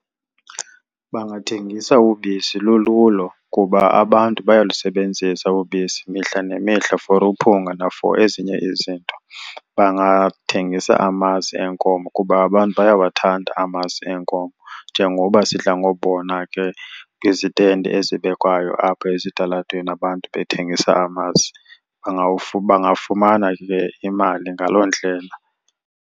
Bangathengisa ubisi lululo kuba abantu bayalusebenzisa ubisi mihla nemihla for uphunga na-for ezinye izinto. Bangathengisa amasi enkomo kuba abantu bayawathanda amasi enkomo, njengoba sidla ngobona ke kwizitendi ezibekwayo apha ezitalatweni abantu bathengisa amasi. Bangafumana ke imali ngaloo ndlela.